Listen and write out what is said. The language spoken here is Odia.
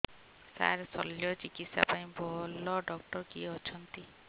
ସାର ଶଲ୍ୟଚିକିତ୍ସା ପାଇଁ ଭଲ ଡକ୍ଟର କିଏ ଅଛନ୍ତି